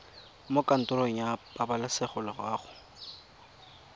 mo kantorong ya pabalesego loago